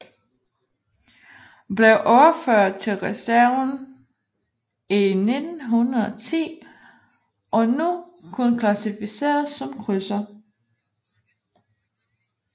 Blev overført til reserven i 1910 og nu kun klassificeret som krydser